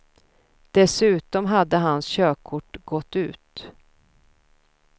Dessutom hade hans körkort gått ut.